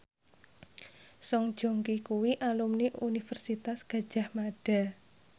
Song Joong Ki kuwi alumni Universitas Gadjah Mada